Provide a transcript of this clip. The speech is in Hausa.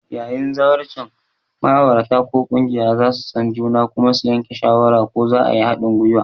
Yayin zawarcin, ma'aurata ko ƙungiya za su san juna kuma su yanke shawara ko za a yi haɗin gwiwa.